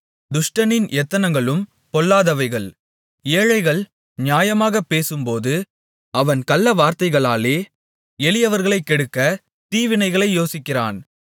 துஷ்டனின் எத்தனங்களும் பொல்லாதவைகள் ஏழைகள் நியாயமாகப் பேசும்போது அவன் கள்ளவார்த்தைகளாலே எளியவர்களைக் கெடுக்க தீவினைகளை யோசிக்கிறான்